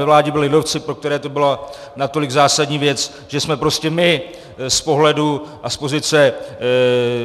Ve vládě byli lidovci, pro které to byla natolik zásadní věc, že jsme prostě my z pohledu a z pozice